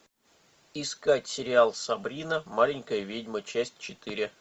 искать сериал сабрина маленькая ведьма часть четыре